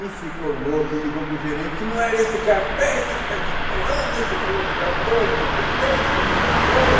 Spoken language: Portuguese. E ficou louca e ligou para o gerente, não era esse carpete que está destoando, esse colocador incompetente, não me mostrou.